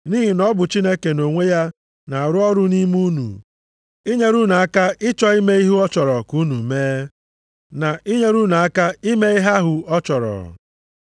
Nʼihi na ọ bụ Chineke nʼonwe ya na-arụ ọrụ nʼime unu, inyere unu aka ịchọ ime ihe ọ chọrọ ka unu mee, na inyere unu aka ime ihe ahụ ọ chọrọ.